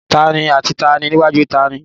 Taàní àti taàní níwájú taàní?